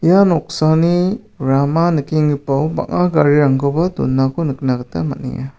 ia noksani rama nikenggipao bang·a garirangkoba donako nikna gita man·enga.